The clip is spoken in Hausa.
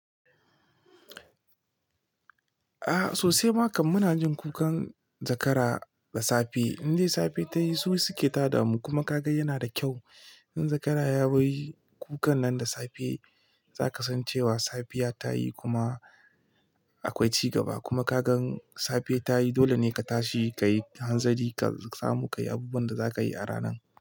A sosai makan muna jin kukan zakara da safe. Inde safe tayi su suke tada mu kuma ka ga yana da kyau. In zakara ya yi kukan nan da safe zaka san cewa safiya ta yi kuma akwai cigaba kuma ka gan safe ta yi dole ne ka tashi kayi hanzari ka samu kayi abubuwan da zaka yi a ranan.